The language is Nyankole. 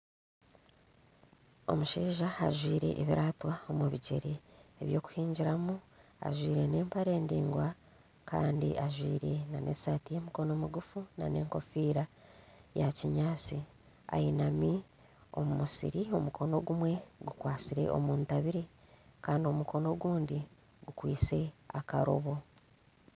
Omushaija ajwaire ebiraato omubigyere ebyokuhingiramu ajwaire nempare ndaingwa Kandi ajwaire nesaati yemikono migufu nana enkofiira ya kinyatsi ayinami omumusiri omukono ogumwe gukwatsire omuntabire Kandi omukono ogundi gukwaitse aha karobo